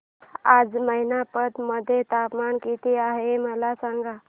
आज मैनपत मध्ये तापमान किती आहे मला सांगा